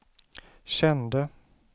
kände